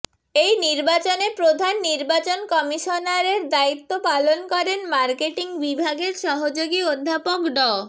এই নির্বাচনে প্রধান নির্বাচন কমিশনারের দায়িত্ব পালন করেন মার্কেটিং বিভাগের সহযোগী অধ্যাপক ড